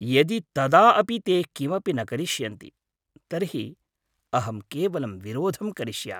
यदि तदा अपि ते किमपि न करिष्यन्ति तर्हि अहं केवलं विरोधं करिष्यामि।